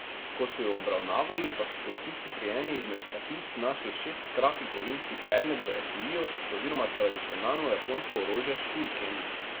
Ko so ju obravnavali, pa so policisti pri eni izmed tatic našli šestkraki kovinski predmet v etuiju oziroma tradicionalno japonsko orožje šuriken.